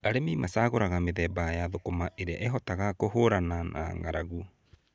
Arĩmi macagũraga mĩthemba ya thũkũma ĩrĩa ĩhotaga kũhũrana na ng’aragu.